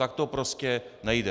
Tak to prostě nejde.